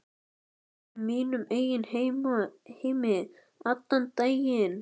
Ég var í mínum eigin heimi allan daginn.